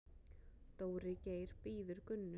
Dóri Geir bíður Gunnu.